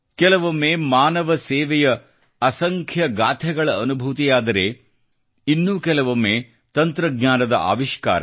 ಕೆಲವೊಮ್ಮೆ ಮಾನವ ಸೇವೆಯ ಅಸಂಖ್ಯ ಗಾಥೆಗಳ ಅನುಭೂತಿಯಾದರೆ ಇನ್ನೂ ಕೆಲವೊಮ್ಮೆ ತಂತ್ರಜ್ಞಾನದ ಆವಿಷ್ಕಾರ